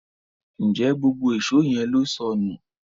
Njé gbógbó Èṣó yén ló sọnù?